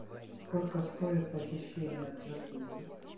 сколько стоит посещение джакузи